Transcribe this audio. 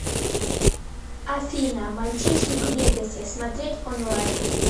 афина мальчишник в вегасе смотреть онлайн